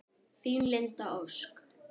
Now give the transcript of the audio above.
Þín, Linda Ósk.